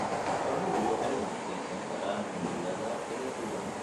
Xooluhu waxay u adkeysan karaan cimilada kala duwan.